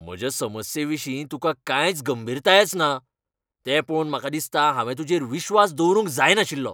म्हज्या समस्येविशीं तुकां कांयच गंभीरतायच ना, तें पळोवन म्हाका दिसता हांवें तूजेर विस्वास दवरूंक जायनाशिल्लो